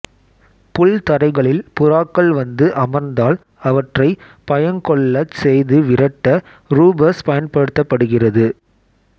புல்தரைகளில் புறாக்கள் வந்து அமர்ந்தால் அவற்றை பயங்கொள்ளச் செய்து விரட்ட ரூபஸ் பயன்படுத்தப்படுகிறது